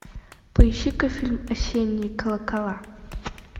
поищи ка фильм осенние колокола